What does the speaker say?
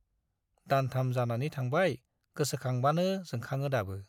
दानथाम जानानै थांबाय गोसोखांबानो जोंखाङो दाबो।